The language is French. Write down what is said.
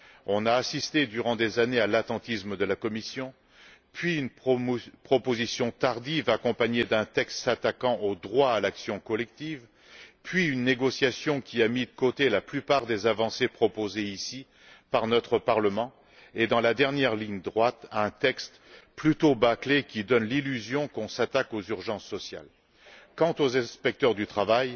Nous avons assisté, durant des années, à l'attentisme de la Commission puis à une proposition tardive accompagnée d'un texte s'attaquant au droit à l'action collective, puis à une négociation, qui a mis de côté la plupart des avancées proposées ici, par notre Parlement et, dans la dernière ligne droite, à un texte plutôt bâclé qui donne l'illusion qu'on s'attaque aux urgences sociales. Quant aux inspecteurs du travail,